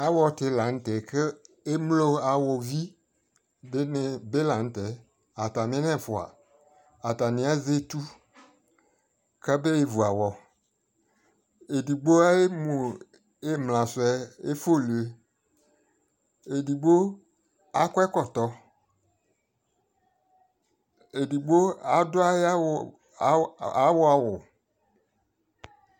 awɔ ti lantɛ kʋ ɛmlɔ awɔ vi dini bi lantɛ, atami nɛ ɛfʋa atani azɛ ɛtʋ kʋ abɛ vʋ awɔ, ɛdigbɔ ayɛ mʋ imla sʋɛ ɛfʋlʋɛ, ɛdigbɔ akɔ ɛkɔtɔ ,ɛdigbɔ ayi adʋ awɔ awʋ